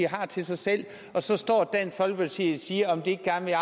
har til sig selv og så står dansk folkeparti og siger om de ikke gerne vil